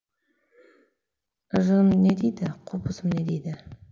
жыным не дейді қобызым не дейді